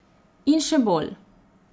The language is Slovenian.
In še bolj.